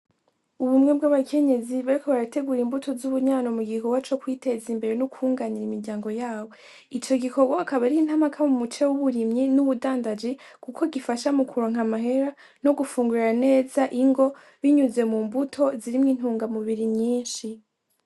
Ubumwe bw'abakenyezi bariko barategura imbuto z'ubunyano mu gikowa co kwiteza imbere n'ukwunganira imiryango yawo ico gikorwa akaba rintamaka mu muce w'uburimyi n'ubudandaji, kuko gifasha mu kuronka amahera no gufungurira neza ingo binyuze mu mbuto zirimwo intunga mubiri nyinshi.